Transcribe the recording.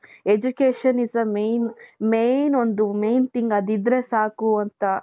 Education is the main, main ಒಂದು main thing ಅದಿದ್ದರೆ ಸಾಕು ಅಂತ.